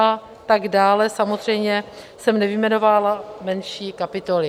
A tak dále, samozřejmě jsem nevyjmenovávala menší kapitoly.